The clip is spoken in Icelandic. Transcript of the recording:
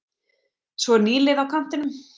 Svo er nýliði á kantinum.